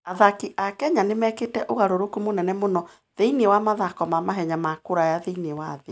Athaki a Kenya nĩ mekĩte ũgarũrũku mũnene mũno thĩinĩ wa mathako ma mahenya ma kũraya thĩinĩ wa thĩ.